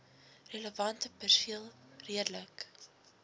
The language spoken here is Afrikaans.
relevante perseel redelik